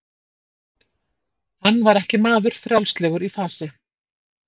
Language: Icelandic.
Hann var ekki maður frjálslegur í fasi.